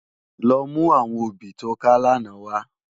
Lò mú áwòn óbì tó ká làná wá